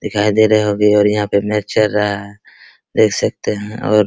दिखाई दे रही होगी और यहाँ पे मैच चल रहा है देख सकते हैं और --